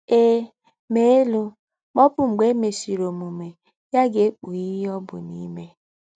Ee, mee elu ma ọbu mgbe e mesịrị omume ya ga-ekpughe ihe ọ bụ n'ime.